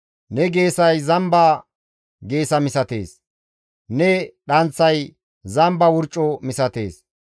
Ne geesay zamba geesa misatees; ne dhanththay zamba wurco misatees.